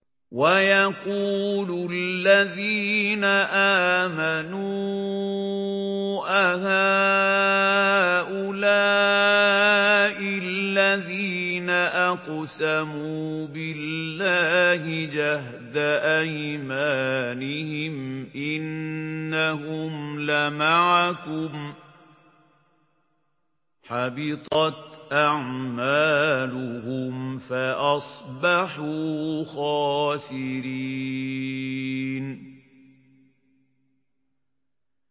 وَيَقُولُ الَّذِينَ آمَنُوا أَهَٰؤُلَاءِ الَّذِينَ أَقْسَمُوا بِاللَّهِ جَهْدَ أَيْمَانِهِمْ ۙ إِنَّهُمْ لَمَعَكُمْ ۚ حَبِطَتْ أَعْمَالُهُمْ فَأَصْبَحُوا خَاسِرِينَ